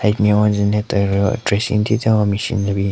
Side nme wange ne teru dressing thyu thyu hon machine ne binyon.